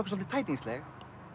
svolítið tætingsleg